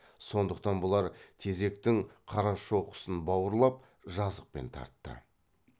сондықтан бұлар тезектің қарашоқысын бауырлап жазықпен тартты